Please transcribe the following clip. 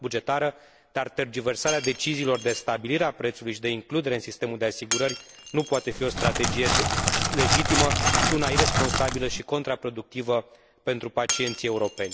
bugetară, dar tergiversarea deciziilor de stabilire a prețului și de includere în sistemul de asigurări nu poate fi o strategie legitimă, ci una iresponsabilă și contraproductivă pentru pacienții europeni.